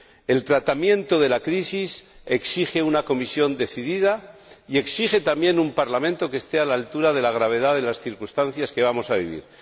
El tratamiento de la crisis exige una Comisión decidida y exige también un Parlamento que esté a la altura de la gravedad de las circunstancias que vamos a vivir.